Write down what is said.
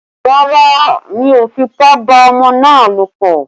Rárá, mi ò fipá bá ọmọ náà lòpọ̀?